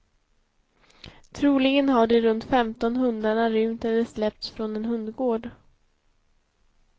Troligen har de runt femton hundarna rymt eller släppts från en hundgård.